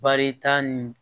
Baarita nin